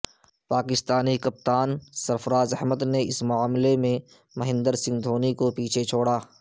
Pakistani captain Sarfraz Ahmed نے اس معاملہ میں مہندر سنگھ دھونی کو چھوڑا پیچھے